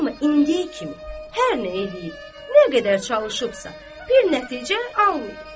Amma indiyə kimi hər nə eləyib, nə qədər çalışıbsa bir nəticə almayıb.